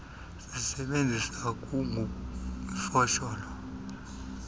sisebenzisa kugug ifosholo